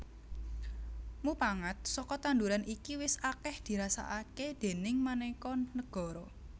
Mupangat saka tanduran iki wis akèh dirasakaké ing manéka negara